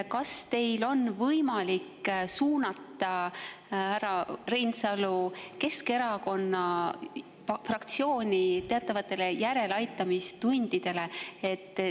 Kas teil on siis võimalik suunata härra Reinsalu Keskerakonna fraktsiooni teatavatesse järeleaitamistundidesse?